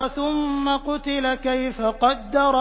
ثُمَّ قُتِلَ كَيْفَ قَدَّرَ